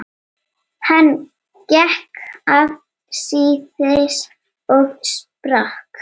Hann gekk afsíðis og sprakk.